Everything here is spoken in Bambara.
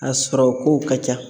A sɔrɔ kow ka ca.